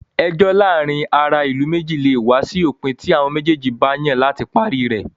Ẹjọ́ láàárin ará ìlú méjì lè wá sí òpin tí àwọn méjèèjì bá yàn láti parí rẹ̀.